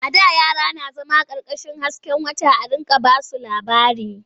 A da yara na zama ƙarƙashin hasken wata a riƙa ba su labari.